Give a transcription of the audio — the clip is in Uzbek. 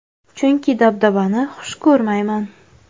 Chunki dabdabani xush ko‘rmayman.